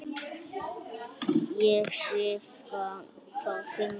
Ég skrifa þá fimm ár.